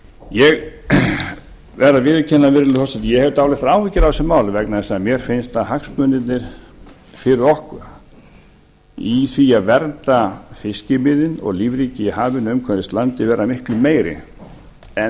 ég verð að viðurkenna virðulegi forseti að ég hef dálitlar áhyggjur af þessu máli vegna þess að mér finnst að hagsmunirnir fyrir okkur í því að vernda fiskimiðin og lífríki í hafinu umhverfis landið vera miklu meiri en